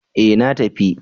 Eh na tafi.